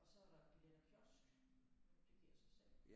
Og så er der billet og kiosk det giver sig selv